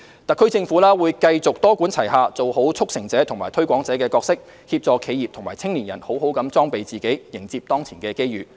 特區政府會繼續多管齊下，做好"促成者"和"推廣者"的角色，協助企業和青年人好好裝備自己，迎接當前的機遇。